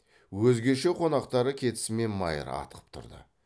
өзгеше қонақтары кетісімен майыр атқып тұрды